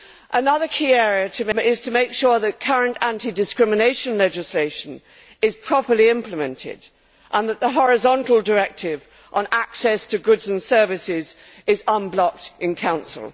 Another key area is to make sure that current anti discrimination legislation is properly implemented and that the horizontal directive on access to goods and services is unblocked in Council.